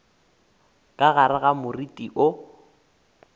ka gare ga moriti woo